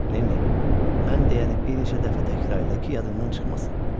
Lenni, mən deyəni bir neçə dəfə təkrar elə ki, yadından çıxmasın.